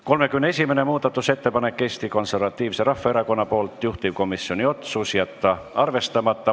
31. muudatusettepanek on Eesti Konservatiivselt Rahvaerakonnalt, juhtivkomisjoni otsus: jätta arvestamata.